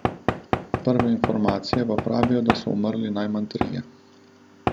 Prve informacije pa pravijo, da so umrli najmanj trije.